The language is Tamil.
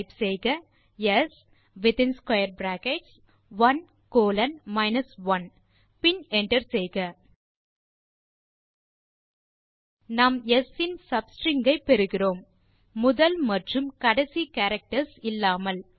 டைப் செய்க ஸ் இன் ஸ்க்வேர் பிராக்கெட்ஸ் 1 கோலோன் 1 பின் என்டர் செய்க நாம் ஸ் இன் சப்ஸ்ட்ரிங் ஐ பெறுகிறோம் முதல் மற்றும் கடைசி கேரக்டர்ஸ் இல்லாமல்